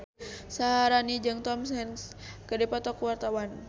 Syaharani jeung Tom Hanks keur dipoto ku wartawan